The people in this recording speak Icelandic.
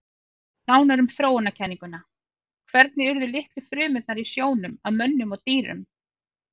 Nánar um þróunarkenninguna Hvernig urðu litlu frumurnar í sjónum að mönnum og dýrum?